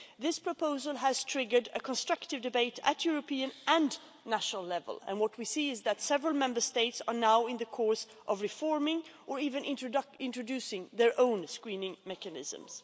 This proposal has triggered a constructive debate at European and national level, and what we see is that several Member States are now in the course of reforming or even introducing their own screening mechanisms.